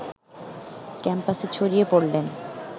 ক্যাম্পাসে ছড়িয়ে পড়লে